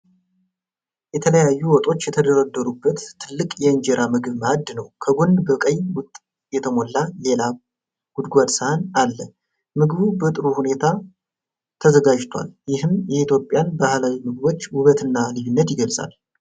የተለያዩ ወጦች የተደረደሩበትን ትልቅ የእንጀራ ምግብ ማእድ ነው። ከጎን በቀይ ወጥ የተሞላ ሌላ ጎድጓዳ ሳህን አለ። ምግቡ በጥሩ ሁኔታ ተዘጋጅቷል፤ ይህም የኢትዮጵያን ባህላዊ ምግቦች ውበትና ልዩነት ይገልጻል።